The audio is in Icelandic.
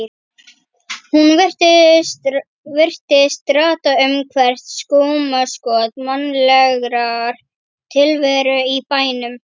Hún virtist rata um hvert skúmaskot mannlegrar tilveru í bænum.